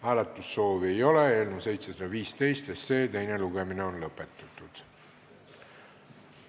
Hääletussoovi ei ole, eelnõu 715 teine lugemine on lõppenud.